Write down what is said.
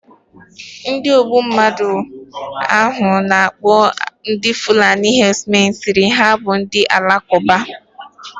Ndi ogbu mmadu ahu ana akpo fulani herdsmen siri na ha bu Ndị Alakụba.